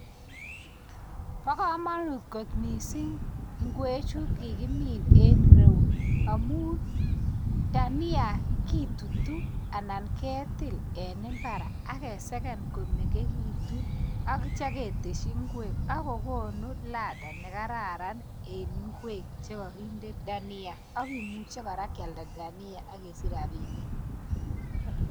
pa komonut kot miising' ngwechu kikimin en reo amu dhania kitutu anan ketil en mbar akeseken komengechitu atcha ketesyi ngwek akokonu ladha nekararan en ngwek chekakinde dhania akimuche kora kealda dhania akesich rabinik